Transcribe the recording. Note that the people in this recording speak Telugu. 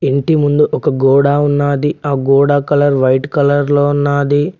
ఇంటి ముందు ఒక గోడా ఉన్నాది ఆ గోడ కలర్ వైట్ కలర్ లో ఉన్నాది.